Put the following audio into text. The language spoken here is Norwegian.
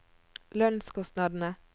lønnskostnadene